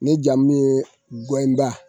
Ne jamu ye gɛnba.